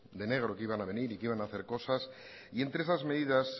de negro que iban a venir y que iban a hacer cosas y entre esas medidas